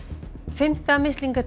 fimmta